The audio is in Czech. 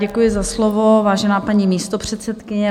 Děkuji za slovo, vážená paní místopředsedkyně.